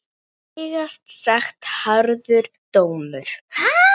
Vægast sagt harður dómur.